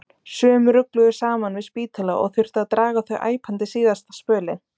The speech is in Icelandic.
Sum rugluðu saman við spítala og þurfti að draga þau æpandi síðasta spölinn.